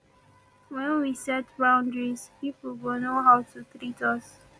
when we set boundaries pipo go know how to treat us